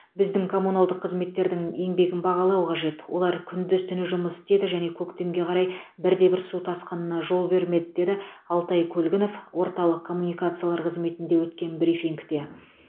біздің коммуналдық қызметтердің еңбегін бағалау қажет олар күндіз түні жұмыс істеді және көктемге қарай бір де бір су тасқынына жол бермеді деді алтай көлгінов орталық коммуникациялар қызметінде өткен брифингте